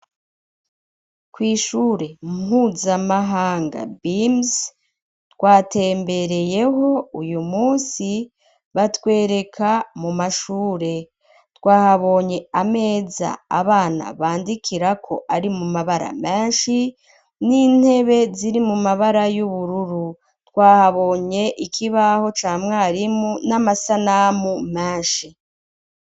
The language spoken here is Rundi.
Kw'ishure mpuzamahanga binisi twatembereyeho uyu munsi batwereka mu mashure twahabonye ameza abana bandikirako ari mu mabara menshi n'intebe ziri mu mabara y'ubururu twahabonye ikibaho ca mwarimu n'amasanamu menshi.